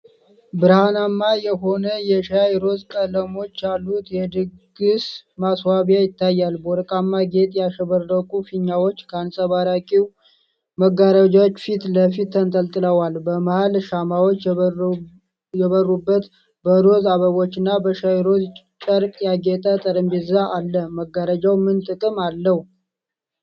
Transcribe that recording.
ብርሀናማ የሆነ የሻይ ሮዝ ቀለሞች ያሉት የድግስ ማስዋቢያ ይታያል። በወርቃማ ጌጥ ያሸበረቁ ፊኛዎች ከአንጸባራቂ መጋረጃዎች ፊት ለፊት ተንጠልጥለዋል። በመሀል ሻማዎች የበሩበት፣ በሮዝ አበባዎችና በሻይ ሮዝ ጨርቅ ያጌጠ ጠረጴዛ አለ። መጋረጃው ምን ጥቅም አለው?